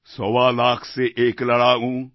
সওয়া লাখ সে এক লড়ায়ুঁ